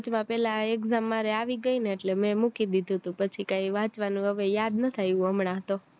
વચમાં પેલ્લા exam મારે આવી ગય ને એટલે મેં મૂકી દીધું હતું પછી કાય વાંચવાનું એવું કાય યાદ નથી આવ્યું હમણાં તો